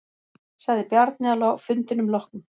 Sagði Bjarni að fundinum loknum.